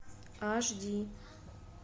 аш ди